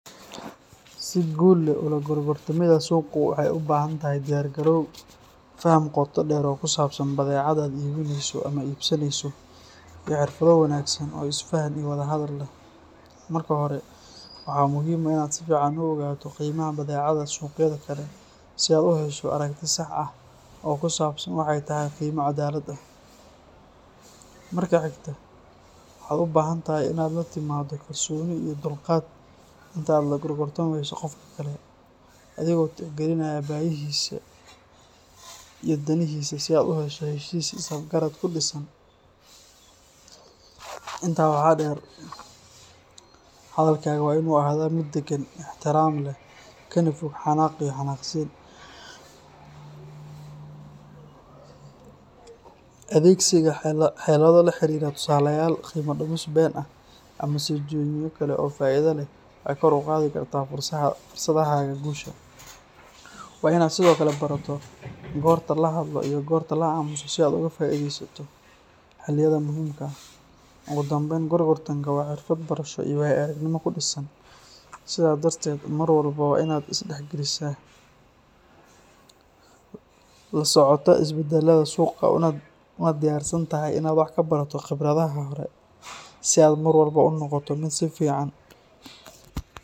Si guul leh ula gorgortamida suuqu waxay u baahan tahay diyaar garow, faham qoto dheer oo ku saabsan badeecada aad iibinayso ama iibsanayso, iyo xirfado wanaagsan oo isfaham iyo wada hadal leh. Marka hore, waxaa muhiim ah in aad si fiican u ogaato qiimaha badeecada suuqyada kale si aad u hesho aragti sax ah oo ku saabsan waxa ay tahay qiimo cadaalad ah. Marka xigta, waxaad u baahan tahay inaad la timaaddo kalsooni iyo dulqaad inta aad la gorgortamayso qofka kale, adigoo tixgelinaya baahiyihiisa iyo danihiisa si aad u hesho heshiis is-afgarad ku dhisan. Intaa waxaa dheer, hadalkaaga waa inuu ahaadaa mid deggan, ixtiraam leh, kana fog xanaaq iyo xanaaqsiin. Adeegsiga xeelado la xiriira tusaalayaal, qiimo-dhimis been ah, ama soo jeedinyo kale oo faa'iido leh waxay kor u qaadi karaan fursadahaaga guusha. Waa inaad sidoo kale barato goorta la hadlo iyo goorta la aamuso si aad uga faa’iidaysato xilliyada muhiimka ah. Ugu dambayn, gorgortanku waa xirfad barasho iyo waayo-aragnimo ku dhisan, sidaa darteed mar walba waa in aad isdhexgelisaa, la socotaa isbeddellada suuqa, una diyaarsan tahay inaad wax ka barato khibradaha hore si aad mar walba u noqoto mid sii fiican.